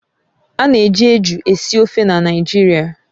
Ana eji eju esi ofe na Naịjirịa